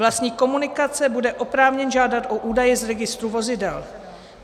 Vlastník komunikace bude oprávněn žádat o údaje z registru vozidel.